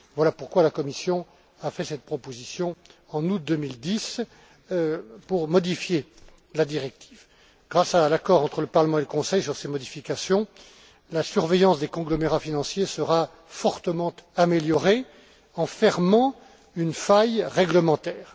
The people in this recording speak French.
Voilà pourquoi la Commission a fait cette proposition en août 2010 pour modifier la directive. Grâce à un accord entre le Parlement et le Conseil sur ces modifications, la surveillance des conglomérats financiers sera fortement améliorée en fermant une faille réglementaire.